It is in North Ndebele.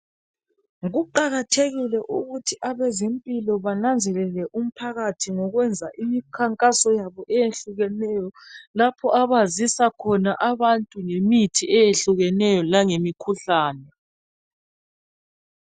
kuqakathekile ukuthi abezempilo bananzelele umphakathi ngokwenza imikhankaso yabo eyehlukeneyo lapha abazisa khona abantu ngemithi ngemithi eyehlukeneyo langemikhuhlane